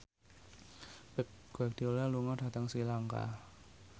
Pep Guardiola lunga dhateng Sri Lanka